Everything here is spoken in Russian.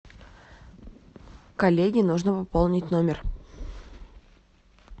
коллеге нужно пополнить номер